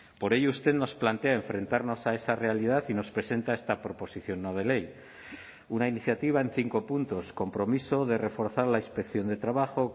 por ello usted nos plantea enfrentarnos a esa realidad y nos presenta esta proposición no de ley una iniciativa en cinco puntos compromiso de reforzar la inspección de trabajo